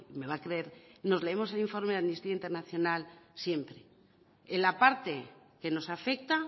me va a creer nos leemos el informe de amnistía internacional siempre en la parte que nos afecta